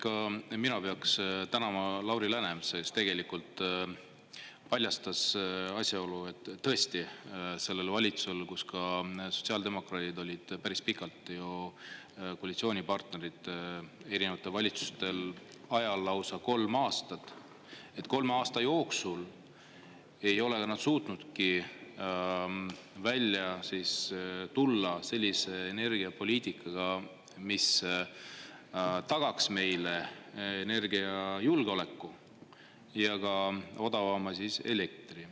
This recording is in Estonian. Ka mina peaksin tänama Lauri Läänemetsa, kes tegelikult paljastas asjaolu, et tõesti sellel valitsusel, kus ka sotsiaaldemokraadid olid päris pikalt ju koalitsioonipartnerid, erinevate valitsustel ajal lausa kolm aastat, et kolme aasta jooksul ei ole nad suutnudki välja tulla sellise energiapoliitikaga, mis tagaks meile energiajulgeoleku ja ka odavama siis elektri.